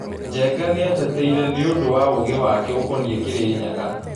Njenga nĩeteteirĩ nĩũ ndũ wa ugĩ wake ũkonie Kirinyaga